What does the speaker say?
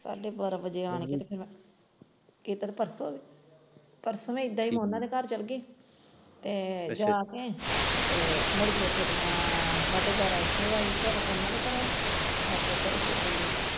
ਸਾਢੇ ਬਾਰਾਂਹ ਵਜੇ ਆਣ ਕੇ ਤੇ ਫਿਰ ਮੈਂ ਮੈਂ ਉਹਨਾਂ ਦੇ ਘਰ ਚੱਲ ਗਈ ਤੇ ਜਾ ਕੇ ਤੇ ਮੁੜ ਕੇ ਮੈਂ ਫਿਰ ਸਾਢੇ ਬਾਰਾਂਹ ਉੱਥੋਂ ਆਈ ਘਰੋਂ ਉਹਨਾਂ ਦੇ ਘਰੋਂ .